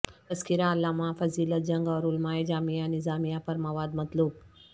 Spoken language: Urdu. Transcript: تذکرہ علامہ فضیلت جنگ اور علمائے جامعہ نظامیہ پر مواد مطلوب